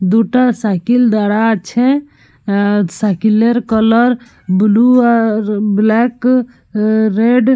দুটা সাইকিল দারা আছে। আ শাকিলের কালার ব্লু আর ব্ল্যাক আ রেড ।